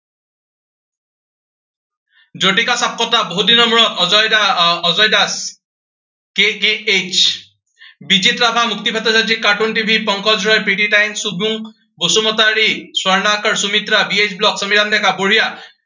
যুথিকা, সাম্পট্টা বহুতদিনৰ মূৰত। অজয় দা আহ অজয় দাস আহ K K H, Bijit Rabha, Mukti Khataniar, C cartoon TV, Pankaj Roy, Preeti Tai, Subrung Basumatary, Swarnakar, Sumitra, B H blog, Samiran Deka বঢ়িয়া